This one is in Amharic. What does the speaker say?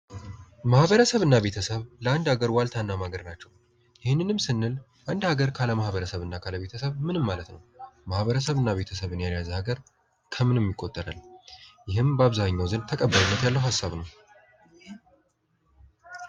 ማህበረሰብ እና ቤተሰብ ለአንድ ሀገር ዋልታና ማገር ናቸው። ይህንንም ስንል እንደ አገር ካለ ማኅበረሰብና አካባቢ ምንም ማለት ነው። ማህበረሰብ እና ቤተሰብን ያልያዘ አገር ከምንም ይቆጠራል። ይህም በአብዛኛው ዘንድ ተቀባይነት ያለው ሀሳብ ነው።